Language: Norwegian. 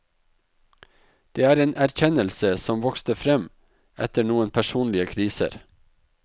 Det er en erkjennelse som vokste frem etter noen personlige kriser.